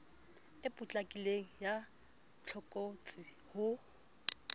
e potlakileng ya tlokotsi ho